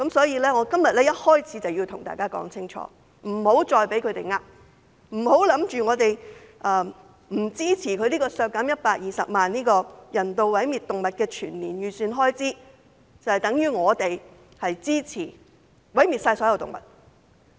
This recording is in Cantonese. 因此，我今天一開始便要向大家說清楚，請勿再被他們欺騙，不要以為我們不支持削減人道毀滅動物涉及的120萬元全年預算開支，就等於我們支持毀滅所有動物。